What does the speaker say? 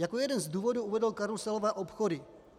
Jako jeden z důvodů uvedl karuselové obchody.